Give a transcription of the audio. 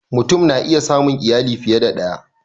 Mutum na iya samun iyali fiye da ɗaya